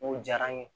N'o diyara n ye